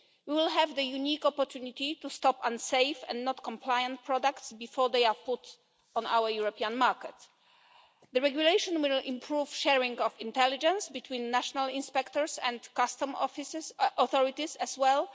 We will have the unique opportunity to stop unsafe and non compliant products before they are put on our European markets. The regulation will improve sharing of intelligence between national inspectors and customs authorities as well.